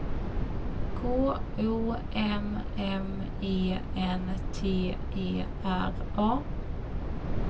K O M M E N T E R A